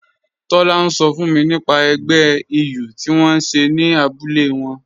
Tọla n sọ fún mi nípà ègbẹ̀ ìyù tí wọn n ṣẹ̀ ní àbúlẹ̀ wọn